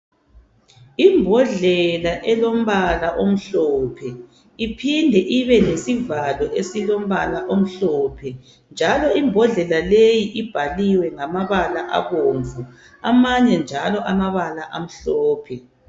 Imbodlela elombala omhlophe iphinde ibelesivalo esilombala omhlophe. Njalo imbodlela leyi ibhaliwe ngamabala abomvu amanye njalo amabala amhlophe.